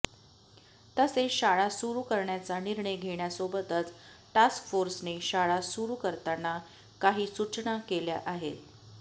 तसेच शाळा सुरु करण्याचा निर्णय घेण्यासोबतच टास्कफोर्सने शाळा सुरु करताना काही सूचना केल्या आहे